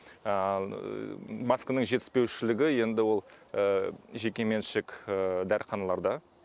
маскының жетіспеушілігі енді ол жеке меншік дәріханаларда